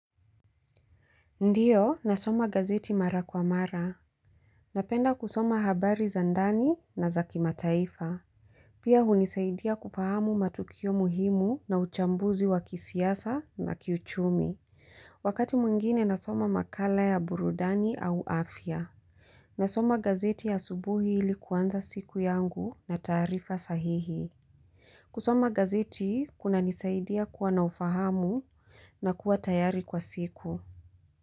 Ndiyo, nasoma gazeti mara kwa mara. Napenda kusoma habari za ndani na za kimataifa. Pia hunisaidia kufahamu matukio muhimu na uchambuzi wa kisiasa na kiuchumi. Wakati mwingine nasoma makala ya burudani au afya. Nasoma gazeti ya asubuhi ili kuanza siku yangu na tarifa sahihi. Kusoma gazeti kuna nisaidia kuwa na ufahamu na kuwa tayari kwa siku.